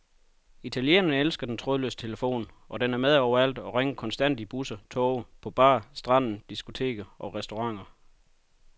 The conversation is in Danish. Italienerne elsker den trådløse telefon, og den er med overalt og ringer konstant i busser, toge, på bar, stranden, diskoteker og restauranter.